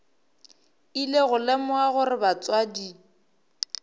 ile go lemoga gore batswadi